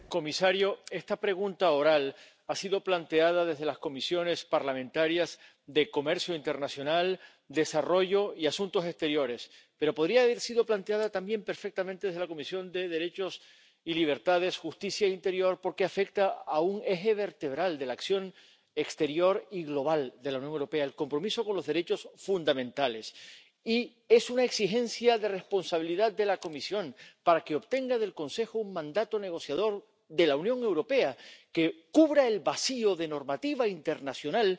Señor presidente, señor comisario, esta pregunta oral ha sido planteada desde las Comisiones parlamentarias de Comercio Internacional, Desarrollo y Asuntos Exteriores, pero también podría haber sido planteada perfectamente desde la Comisión de Libertades, Justicia y Asuntos de Interior porque afecta a un eje vertebral de la acción exterior y global de la Unión Europea —el compromiso con los derechos fundamentales—, y es una exigencia de responsabilidad de la Comisión para que obtenga del Consejo un mandato negociador de la Unión Europea que cubra el vacío de normativa internacional